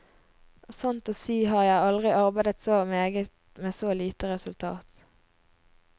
Sant å si har jeg aldri arbeidet så meget med så lite resultat.